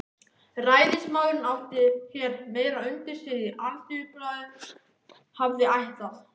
Ræðismaðurinn átti hér meira undir sér en Alþýðublaðið hafði ætlað.